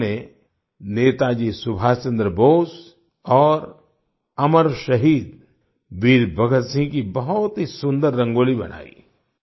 इन्होंने नेताजी सुभाष चन्द्र बोस और अमर शहीद वीर भगत सिंह की बहुत ही सुन्दर रंगोली बनाई